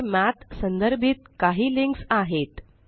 येथे मठ संदर्भित काही लिंक्स आहेत